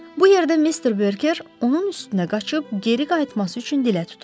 Bu yerdə mister Berker onun üstünə qaçıb geri qayıtması üçün dilə tutub.